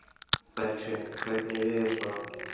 Bergsveina, hvernig er veðurspáin?